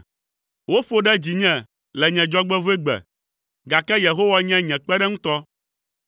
Woƒo ɖe dzinye le nye dzɔgbevɔ̃egbe, gake Yehowa nye nye kpeɖeŋutɔ.